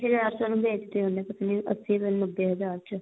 ਅੱਸੀ ਹਜ਼ਾਰ ਚ ਉਹਨੂੰ ਵੇਚਦੇ ਹੁੰਦੇ ਸੀਗੇ ਅੱਸੀ ਪਤਾ ਨਹੀਂ ਨੱਬੇ ਹਜ਼ਾਰ ਚ